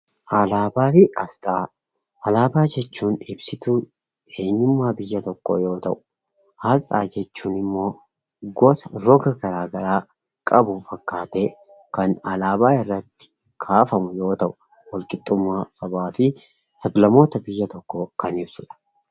Alaabaa jechuun ibsituu eenyummaa biyya tokkoo yoo ta'u, Asxaa jechuun immoo gosa roga garaa garaa qabu fakkaatee kan alaabaa irratti kaafamu yoo ta'u, walqixxummaa sabaa fi sab-lammoota biyya tokkoon kan ibsudha.